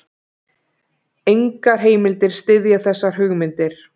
Engar heimildir styðja þessar hugmyndir.